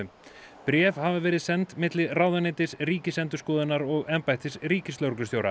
bréf hafa verið send milli ráðuneytis Ríkisendurskoðunar og embættis ríkislögreglustjóra